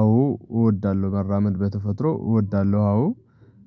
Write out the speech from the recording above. አዎ እወዳለሁ መራመድ በተፈጥሮ እወዳለሁ አዎ